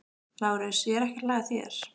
LÁRUS: Ég er ekki að hlæja að þér.